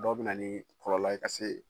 Dɔw bɛ na ni kɔlɔlɔ ye ka se